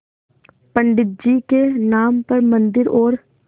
पंडित जी के नाम पर मन्दिर और